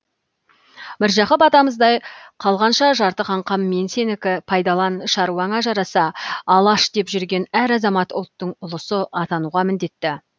міржақып атамыздай қалғанша жарты қаңқам мен сенікі пайдалан шаруаңа жараса алаш деп жүрген әр азамат ұлттың ұлысы атануға міндетті